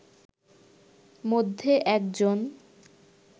মধ্যে একজন